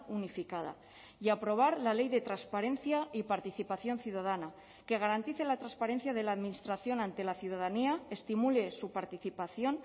unificada y aprobar la ley de transparencia y participación ciudadana que garantice la transparencia de la administración ante la ciudadanía estimule su participación